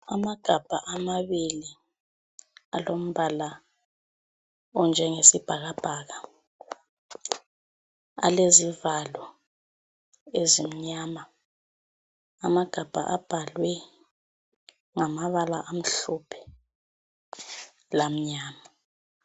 Amagabha amabili alombala onjengesibhakabhaka alezivalo ezimnyama. Amagabha abhalwe ngamabala amhlophe lamnyama.